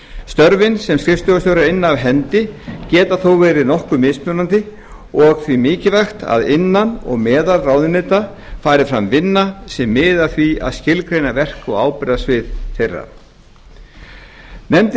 störfin sem skrifstofustjórar inna af hendi geta þó verið nokkuð mismunandi og því mikilvægt að innan og meðal ráðuneyta fari fram vinna sem miði að því að skilgreina verk og ábyrgðarsvið þeirra klára pétur nefndin